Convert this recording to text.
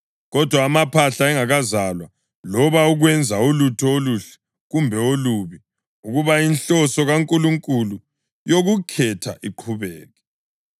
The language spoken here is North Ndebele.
Kodwa amaphahla engakazalwa loba ukwenza ulutho oluhle kumbe olubi, ukuba inhloso kaNkulunkulu yokukhetha iqhubeke;